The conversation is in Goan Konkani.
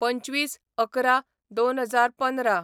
२५/११/२०१५